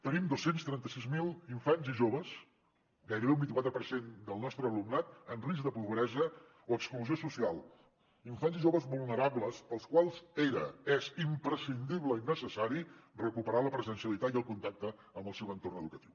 tenim dos cents i trenta sis mil infants i joves gairebé un vint quatre per cent del nostre alumnat en risc de pobresa o exclusió social infants i joves vulnerables pels quals era és imprescindible i necessari recuperar la presencialitat i el contacte amb el seu entorn educatiu